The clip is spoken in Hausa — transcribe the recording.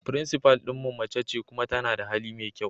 Principal din mu mace ce kuma tana da hali mai kyau.